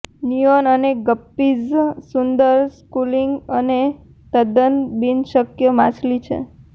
neon અને guppies સુંદર schooling અને તદ્દન બિનશક્ય માછલી છે